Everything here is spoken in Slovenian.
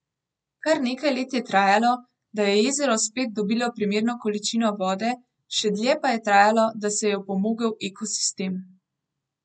Kar nekaj let je trajalo, da je jezero spet dobilo primerno količino vode, še dlje pa je trajalo, da se je opomogel ekosistem.